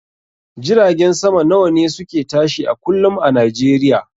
Jiragen sama nawane suke tashi a kullum a nijeriya?